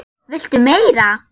VILTU MEIRA?